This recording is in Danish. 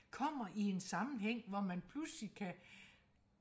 kommer i en sammenhæng hvor man pludselig kan